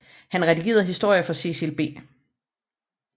Han redigerede historier for Cecil B